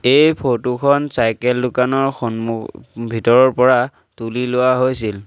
এই ফটো খন চাইকেল দোকানৰ সন্মু ভিতৰৰ পৰা তুলি লোৱা হৈছিল।